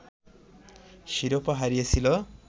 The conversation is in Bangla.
শিরোপা হারিয়েছিল